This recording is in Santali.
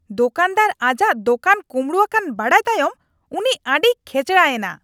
ᱫᱳᱠᱟᱱᱫᱟᱨ ᱟᱡᱟᱜ ᱫᱳᱠᱟᱱ ᱠᱩᱢᱵᱲᱩ ᱟᱠᱟᱱ ᱵᱟᱰᱟᱭ ᱛᱟᱭᱚᱢ ᱩᱱᱤ ᱟᱹᱰᱤᱭ ᱠᱷᱮᱪᱲᱟ ᱮᱱᱟ ᱾